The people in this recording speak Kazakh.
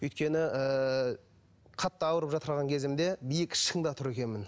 өйткені ыыы қатты ауырып кезімде биік шыңда тұр екенмін